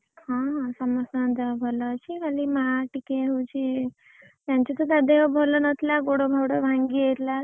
ହଁ ହଁ ସମସ୍ତଙ୍କ ଦେହ ଭଲ ଅଛି ଖାଲି ମା ଟିକେ ହଉଛି ସେମିତି ତ ତା ଦେହ ଭଲ ନଥିଲା ଗୋଡ ମୋଡ ଭାଙ୍ଗି ଯାଇଥିଲା ।